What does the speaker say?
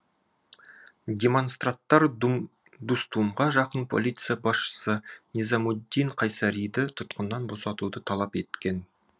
демонстранттар дустумға жақын полиция басшысы низамуддин қайсариді тұтқыннан босатуды талап еткен